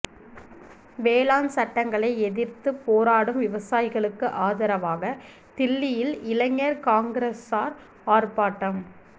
வேளாண் சட்டங்களை எதிா்த்துப் போராடும் விவசாயிகளுக்கு ஆதரவாக தில்லியில் இளைஞா் காங்கிரஸாா் ஆா்ப்பாட்டம்